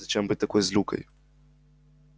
зачем быть такой злюкой